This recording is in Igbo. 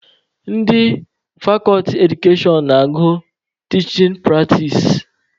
Ndị fakọlti edukashọn na-aga tichin pratis.